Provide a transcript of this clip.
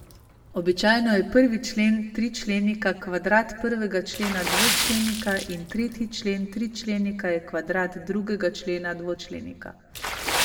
Običajno je prvi člen tričlenika kvadrat prvega člena dvočlenika in tretji člen tričlenika je kvadrat drugega člena dvočlenika.